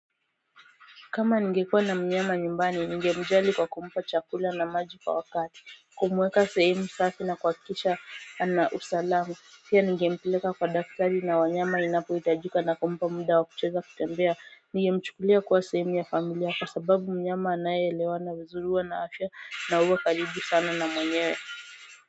Kama ningekuwa na mnyama nyumbani, ningemjali kwa kumpa chakula na maji kwa wakati, kumuweka sehemu safi na kuhakikisha anausalama, pia ninge mpeleka kwa daktari na wanyama inapohitajika na kumpa muda wa kucheza, kutembea, ninge mchukulia kuwa sehemu ya familia kwa sababu, mnyama anayeelewana vizuri huwa na afya na huwa karibu sana na mwenyewe.